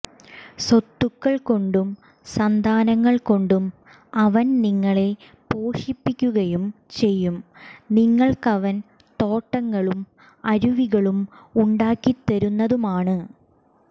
സ്വത്തുക്കൾ കൊണ്ടും സന്താനങ്ങൾ കൊണ്ടും അവൻ നിങ്ങളെ പോഷിപ്പിക്കുകയും ചെയ്യും നിങ്ങൾക്കവൻ തോട്ടങ്ങളും അരുവികളും ഉണ്ടാക്കിത്തരുന്നതുമാണ്